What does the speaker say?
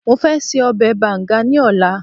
mo fẹ se obe banga ni ọlá